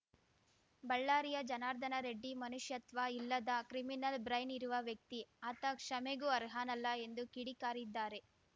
ಬಳ್ಳಾರಿಯ ಜನಾರ್ದನ ರೆಡ್ಡಿ ಮನುಷ್ಯತ್ವ ಇಲ್ಲದ ಕ್ರಿಮಿನಲ್‌ ಬ್ರೈನ್‌ ಇರುವ ವ್ಯಕ್ತಿ ಆತ ಕ್ಷಮೆಗೂ ಅರ್ಹನಲ್ಲ ಎಂದು ಕಿಡಿಕಾರಿದ್ದಾರೆ